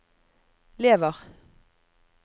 lever